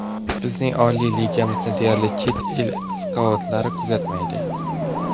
Bizning oliy ligamizni deyarli chet el skautlari kuzatmaydi.